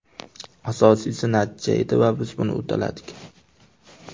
Asosiysi natija edi va biz buni uddaladik.